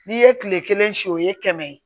N'i ye kile kelen siyɛ o ye kɛmɛ ye